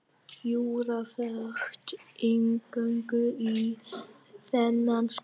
Júra fékk inngöngu í þennan skóla.